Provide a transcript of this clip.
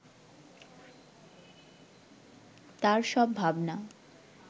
তার সব ভাবনা